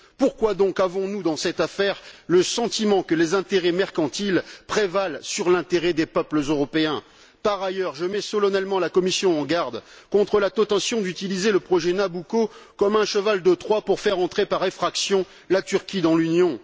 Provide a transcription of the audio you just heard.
Pourquoi donc avons nous, dans cette affaire, le sentiment que les intérêts mercantiles prévalent sur l'intérêt des peuples européens? Par ailleurs, je mets solennellement la Commission en garde contre la tentation d'utiliser le projet Nabucco comme un cheval de Troie pour faire entrer par effraction la Turquie dans l'Union.